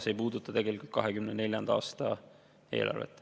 See ei puuduta tegelikult 2024. aasta eelarvet.